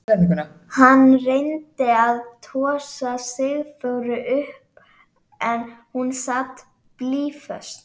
Hann reyndi að tosa Sigþóru upp en hún sat blýföst.